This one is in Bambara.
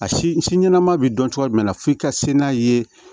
A si si ɲɛnama bɛ dɔn cogo jumɛn na f'i ka se n'a ye